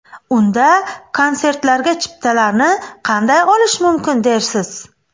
Unda konsertlarga chiptalarni qanday olish mumkin dersiz?